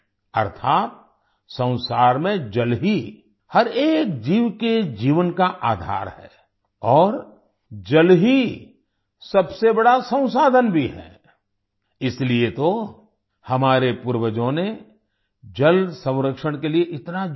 अर्थात संसार में जल ही हर एक जीव के जीवन का आधार है और जल ही सबसे बड़ा संसाधन भी है इसीलिए तो हमारे पूर्वजों ने जल संरक्षण के लिए इतना ज़ोर दिया